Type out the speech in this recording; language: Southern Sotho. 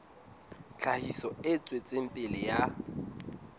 tlhahiso e tswetseng pele ya